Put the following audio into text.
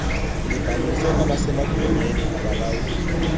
libhalisiwe kwabasemagunyeni abalawulayo